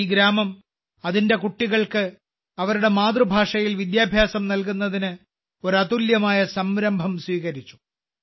ഈ ഗ്രാമം അതിന്റെ കുട്ടികൾക്ക് അവരുടെ മാതൃഭാഷയിൽ വിദ്യാഭ്യാസം നൽകുന്നതിന് ഒരു അതുല്യമായ സംരംഭം സ്വീകരിച്ചു